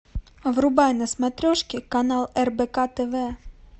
врубай на смотрешке канал рбк тв